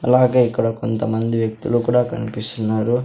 అలాగే ఇక్కడ కొంతమంది వ్యక్తులు కూడా కనిపిస్సున్నారు.